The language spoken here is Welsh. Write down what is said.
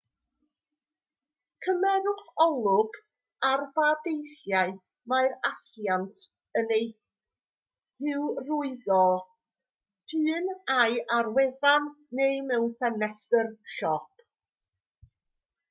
cymerwch olwg ar ba deithiau mae'r asiant yn eu hyrwyddo p'un ai ar wefan neu mewn ffenestr siop